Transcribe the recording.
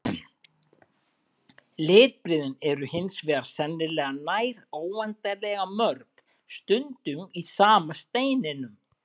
Litbrigðin eru hins vegar sennilega nær óendanlega mörg, stundum í sama steininum.